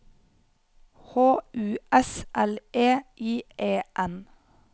H U S L E I E N